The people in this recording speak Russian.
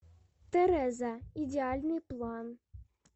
тэрэза идеальный план